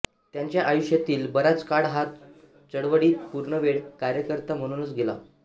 त्यांच्या आयुष्यातील बराच काळ हा चळवळीत पूर्णवेळ कार्यकर्ता म्हणूनच गेला